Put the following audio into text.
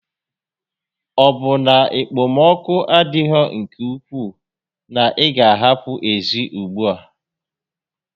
Ọ bụ na okpom6oku adịghị nke ukwuu na-ị gá a apụ ezi ùgbúà?